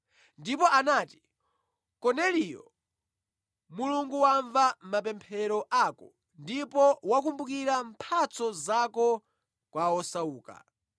Ndipo anati, ‘Korneliyo, Mulungu wamva mapemphero ako ndipo wakumbukira mphatso zako kwa osauka.